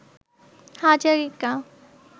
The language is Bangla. হাজারিকা